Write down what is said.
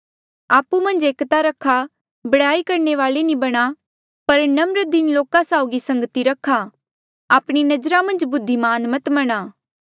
आपु मन्झ एकता रखा बडयाई करणे वाले नी बणा पर नम्र दीन लोका साउगी संगति रखा आपणी नजरा मन्झ बुद्धिमान मत बणा